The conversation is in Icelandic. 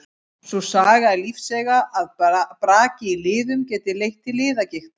Sú saga er lífseiga að brak í liðum geti leitt til liðagigtar.